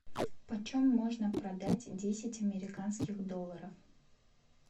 почем можно продать десять американских долларов